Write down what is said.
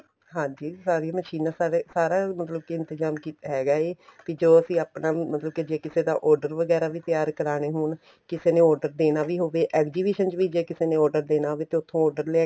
ਹਾਂਜੀ ਸਾਰੀਆਂ ਮਸ਼ੀਨਾਂ ਸਾਡੇ ਸਾਰਾ ਮਤਲਬ ਕੇ ਇੰਤਜਾਮ ਹੈਗਾ ਏ ਕੀ ਜੋ ਅਸੀਂ ਆਪਣਾ ਮਤਲਬ ਕੇ ਜ਼ੇ ਕਿਸੇ ਦਾ order ਵਗੇਰਾ ਵੀ ਤਿਆਰ ਕਰਾਣੇ ਹੋਣ ਕਿਸੇ ਨੇ order ਦੇਣਾ ਵੀ ਹੋਵੇ exhibition ਚ ਜ਼ੇ ਕਿਸੇ ਨੇ order ਦੇਣਾ ਹੋਵੇ ਤੇ ਉੱਥੋ order